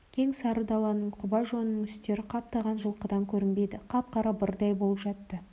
кең сары даланың құба жонның үстері қаптаған жылқыдан көрінбейді қап-қара бырдай болып жатады